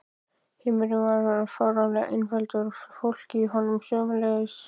Heimurinn varð fáránlega einfaldur og fólkið í honum sömuleiðis.